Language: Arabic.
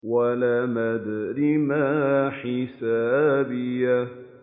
وَلَمْ أَدْرِ مَا حِسَابِيَهْ